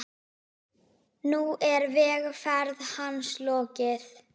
Nú er vegferð hans lokið.